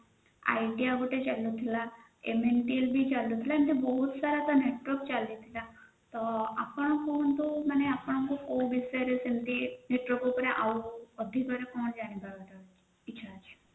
idea ଗୋଟେ ଚାଲୁଥିଲା ବି ଚାଲୁଥିଲା ଏମିତି ବହୁତସାରା ବି network ଚାଲୁଥିଲା ଆପଣଙ୍କୁ କୋଉ ବିଷୟରେ ସେମିତି network ଉପରେ ଅଧିକ ଜାଣିବାକୁ ଚାହୁଛନ୍ତି ଇଚ୍ଛା ଅଛି